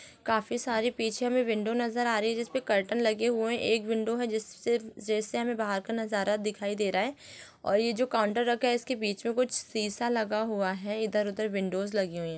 काफी सारे पीछे में विंडो नज़र आ रही है जिसपे कर्टेन लगे हुए है एक विंडो है जिसपे जिससे हमें बाहर का नज़ारा दिखाई दे रहा है और ये जो कर्टेन रखा है उसके बीच में कुछ शीशा लगा हुआ हैइधर-उधर विंडोज लगे हुए है।